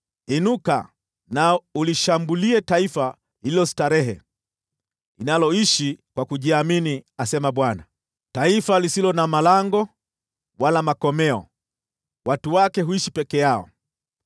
“Inuka na ulishambulie taifa lililo starehe, linaloishi kwa kujiamini,” asema Bwana , “taifa lisilo na malango wala makomeo; watu wake huishi peke yao.